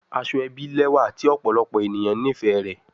Asoebi lẹwa ti ọpọlọpọ eniyan nifẹ rẹ